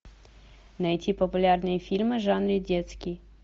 найти популярные фильмы в жанре детский